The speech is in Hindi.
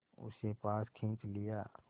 उसे पास खींच लिया